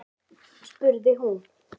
spurði hún.